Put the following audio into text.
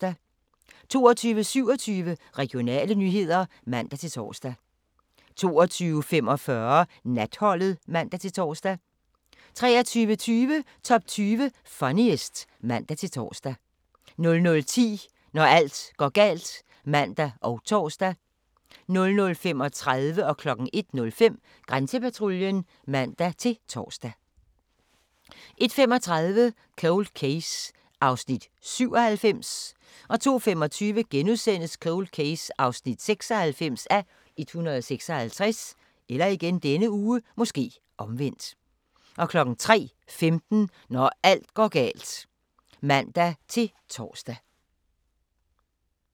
22:27: Regionale nyheder (man-tor) 22:45: Natholdet (man-tor) 23:20: Top 20 Funniest (man-tor) 00:10: Når alt går galt (man og tor) 00:35: Grænsepatruljen (man-tor) 01:05: Grænsepatruljen (man-tor) 01:35: Cold Case (97:156) 02:25: Cold Case (96:156)* 03:15: Når alt går galt (man-tor)